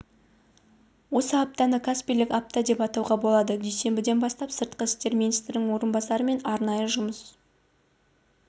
осы аптаны каспийлік апта деп атауға болады дүйсенбіден бастап сыртқы істер министрінің орынбасары мен арнайы жұмыс